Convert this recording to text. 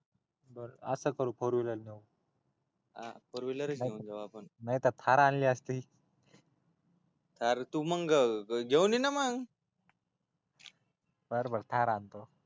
बर अस करू फोरव्हिलरच फोर व्हिलरच घेऊन जाऊ आपली नाहीत र थार आणली आसती आर तु मग घेऊन ये ना मग बर बर थार आणतो